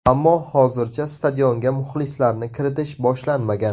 Ammo hozircha stadionga muxlislarni kiritish boshlanmagan.